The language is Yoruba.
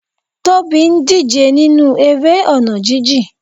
Tobi ń díje nínú eré ọ̀nà jijìn.